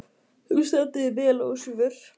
Þú stendur þig vel, Ósvífur!